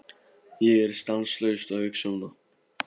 Ég er stanslaust að hugsa um það.